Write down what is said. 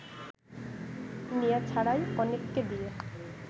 নেয়া ছাড়াই অনেককে দিয়ে